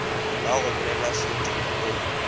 ba go bolelela soding o